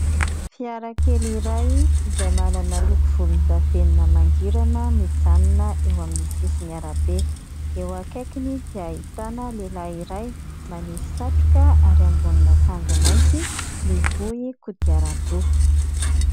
Fiara kely iray izay manana loko volondavenona mangirana, mijanona eo amin'ny sisin'ny arabe. Eo akaikiny dia ahitana lehilahy iray manisy satroka ary ambonin'akanjo mainty, mivoy kodiaran-droa.